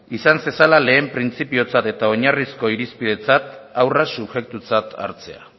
izan zezala lehen printzipiotzat eta oinarrizko irizpidetzat haurra subjektutzat hartzea